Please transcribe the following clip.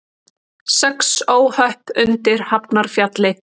Sex óhöpp undir Hafnarfjalli